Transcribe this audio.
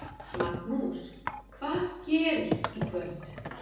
Magnús: Hvað gerist í kvöld?